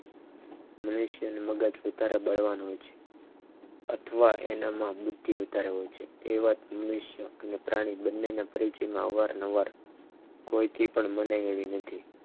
મનુષ્યનું મગજ વધારે બળવા હોય છ અથવા એનામાં બુદ્ધિ વધારે હોય છે એવા મનુષ્યો ને પ્રાણીઓ બંનેને અવારનવાર કોઈથી પણ મનાય એવી નથી.